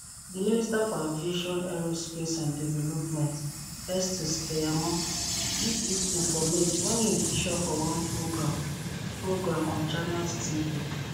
di minister for aviation aerospace and development festus keyamo give dis informate wen e feature for one programme programme on channels tv